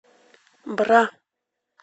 бра